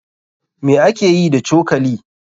Me ake yi da cokali?